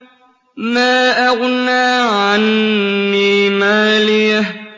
مَا أَغْنَىٰ عَنِّي مَالِيَهْ ۜ